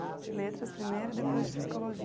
De letras primeiro e depois de psicologia.